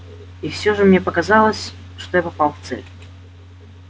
и всё же мне показалось что я попал в цель